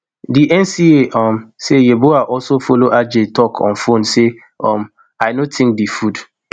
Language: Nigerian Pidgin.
di NCA um say yeboah also follow adjei tok on fone say um i no tink di food